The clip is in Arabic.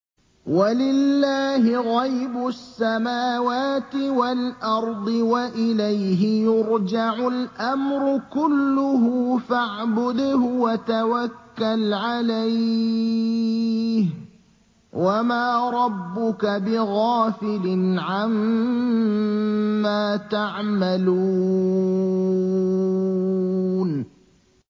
وَلِلَّهِ غَيْبُ السَّمَاوَاتِ وَالْأَرْضِ وَإِلَيْهِ يُرْجَعُ الْأَمْرُ كُلُّهُ فَاعْبُدْهُ وَتَوَكَّلْ عَلَيْهِ ۚ وَمَا رَبُّكَ بِغَافِلٍ عَمَّا تَعْمَلُونَ